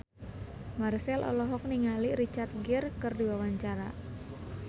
Marchell olohok ningali Richard Gere keur diwawancara